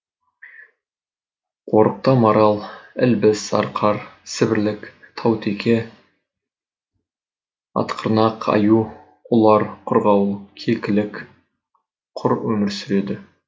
қорықта марал ілбіс арқар сібірлік таутеке ақтырнақ аю ұлар қырғауыл кекілік құр өмір сүреді